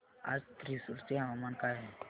आज थ्रिसुर चे हवामान काय आहे